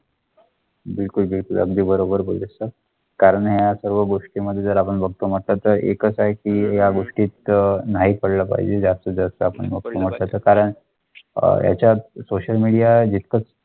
त्याच्या पायाभूत लोकांचं असं फ्लाइट चालेल आणि त्यामुळे त्यांना माहीतच नाही की आपण लहान तुम्हीखेड काय क्रिकेट करता येतो? आजकाल जास्त मुलं आहेत, पणला इन्स्टाग्राम बघेल केले चॅटिंग आह मेसेज बगले झालं. त्याच्यामध्ये पण असेल.